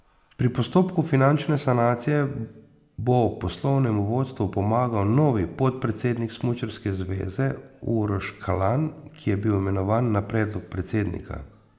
Pri postopku finančne sanacije bo poslovnemu vodstvu pomagal novi podpredsednik smučarske zveze Uroš Kalan, ki je bil imenovan na predlog predsednika.